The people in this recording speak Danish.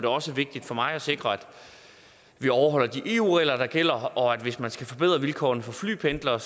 også vigtigt for mig at sikre at vi overholder de eu regler der gælder hvis man skal forbedre vilkårene for flypendlere